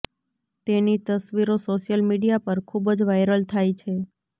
તેની તસવીરો social media પર ખૂબ જ વાયરલ થાય છે